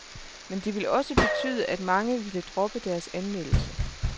Men det ville også betyde, at mange ville droppe deres anmeldelse.